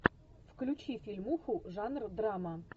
включи фильмуху жанр драма